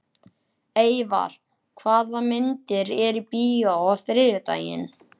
Eyvar, hvaða myndir eru í bíó á þriðjudaginn?